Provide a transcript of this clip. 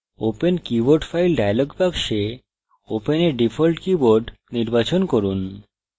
open keyboard file dialog box open a default keyboard নির্বাচন করুন